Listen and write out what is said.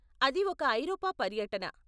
అది ఒక ఐరోపా పర్యటన.